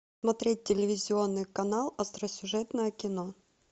смотреть телевизионный канал остросюжетное кино